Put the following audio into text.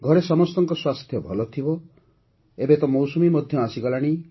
ଘରେ ସମସ୍ତଙ୍କ ସ୍ୱାସ୍ଥ୍ୟ ଭଲ ଥିବ ଏବେ ତ ମୌସୁମୀ ମଧ୍ୟ ଆସିଗଲାଣି